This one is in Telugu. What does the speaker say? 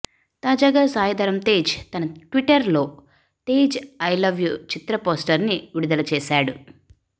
తాజగా సాయిధరమ్ తేజ్ తన ట్విట్టర్ లో Tej I love you Chitra poster ని విడుదల చేసాడు